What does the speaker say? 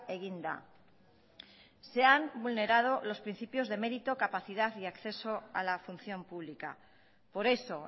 egin da se han vulnerado los principios de mérito capacidad y acceso a la función pública por eso